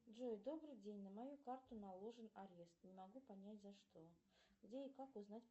джой добрый день на мою карту наложен арест не могу понять за что где и как узнать